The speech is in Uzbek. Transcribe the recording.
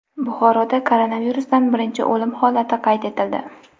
Buxoroda koronavirusdan birinchi o‘lim holati qayd etildi.